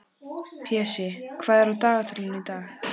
Pési, hvað er á dagatalinu í dag?